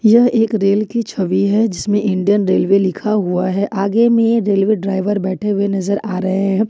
यह एक रेल की छवि है जिसमें इंडियन रेलवे लिखा हुआ है आगे में रेलवे ड्राइवर बैठे हुए नजर आ रहे हैं।